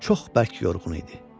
Çox bərk yorğun idi.